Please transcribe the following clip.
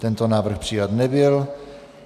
Tento návrh přijat nebyl.